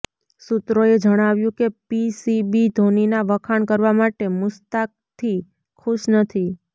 સૂત્રોએ જણાવ્યું કે પીસીબી ધોનીના વખાણ કરવા માટે મુશ્તાકથી ખુશ નથી